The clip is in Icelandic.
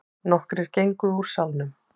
Nokkrir gengu úr salnum.